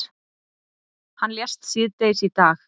Hann lést síðdegis í dag.